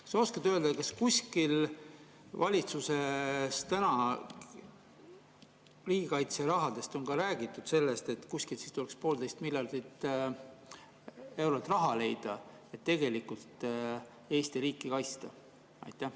Kas sa oskad öelda, kas valitsuses riigikaitse rahadest rääkides on räägitud ka sellest, et kuskilt tuleks poolteist miljardit eurot leida, et tegelikult Eesti riiki kaitsta?